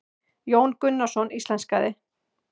Jón Gunnarsson íslenskaði.